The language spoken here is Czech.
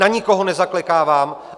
Na nikoho nezaklekávám.